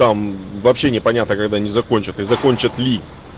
там вообще не понятно когда они закончат и закончат ли